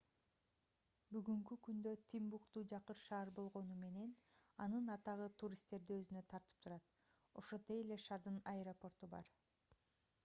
бүгүнкү күндө тимбукту жакыр шаар болгону менен анын атагы туристтерди өзүнө тартып турат ошондой эле шаардын аэропорту бар